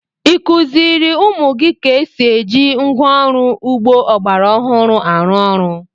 Ị kụziiri ụmụ gị ka esi eji ngwá ọrụ ugbo ọgbara ọhụrụ arụ ọrụ?